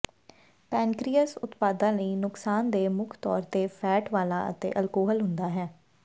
pancreas ਉਤਪਾਦਾਂ ਲਈ ਨੁਕਸਾਨਦੇਹ ਮੁੱਖ ਤੌਰ ਤੇ ਫ਼ੈਟ ਵਾਲਾ ਅਤੇ ਅਲਕੋਹਲ ਹੁੰਦਾ ਹੈ